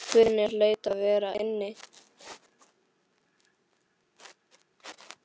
Guðni hlaut að vera inni.